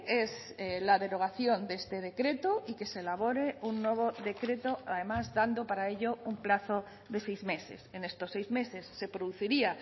es la derogación de este decreto y que se elabore un nuevo decreto además dando para ello un plazo de seis meses en estos seis meses se produciría